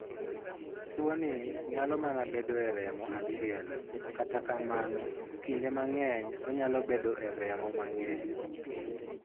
Tuoni nyalo mana bedo e remo achiel, kata kamano, kinde mang'eny onyalo bedo e remo mang'eny.